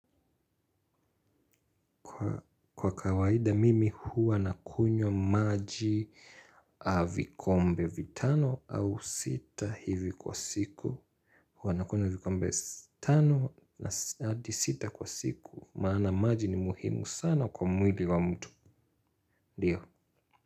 Kwa kawaida mimi huwa nakunywa maji vikombe vitano au sita hivi kwa siku. Huwa nakunywa vikombe tano hadi sita kwa siku. Maana maji ni muhimu sana kwa mwili wa mtu. Ndiyo.